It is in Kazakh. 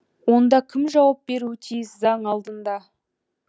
онда кім жауап беруі тиіс заң алдында